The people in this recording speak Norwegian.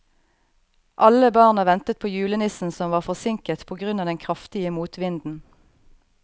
Alle barna ventet på julenissen, som var forsinket på grunn av den kraftige motvinden.